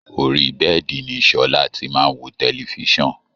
Orí bẹ́ẹ̀́di ni Sọla ti máa wo tẹlififíṣàn